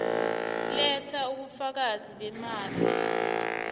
letha ubufakazi beemali